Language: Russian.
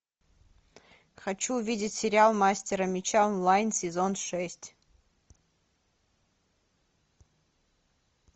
хочу увидеть сериал мастера меча онлайн сезон шесть